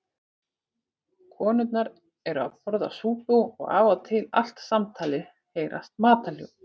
Konurnar eru að borða súpu og af og til allt samtalið heyrast matarhljóð.